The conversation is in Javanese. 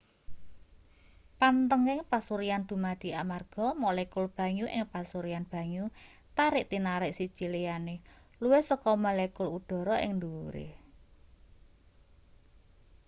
panthenging pasuryan dumadi amarga molekul banyu ing pasuryan banyu tarik-tinarik siji liyane luwih saka molekul udhara ing ndhuwure